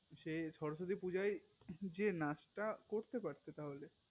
সে সরস্বতী পূজায় যে নাচতা করতে পড়তে তাহলে